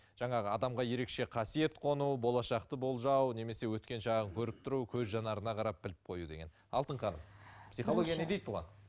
жаңағы адамға ерекше қасиет қону болашақты болжау немесе өткен шағын көріп тұру көз жанарына қарап біліп қою деген алтын ханым психология не дейді бұған